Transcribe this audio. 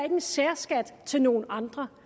en særskat til nogle andre